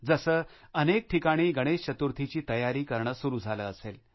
जसे अनेक ठिकाणी गणेश चतुर्थीची तयारी करणे सुरु झाले असेल